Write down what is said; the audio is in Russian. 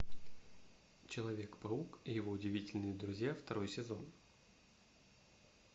человек паук и его удивительные друзья второй сезон